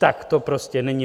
Tak to prostě není.